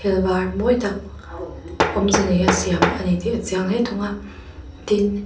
il var mawi tak awmze neia siam ani tih a chiang hle thung a tin--